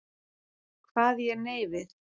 Kvað ég nei við.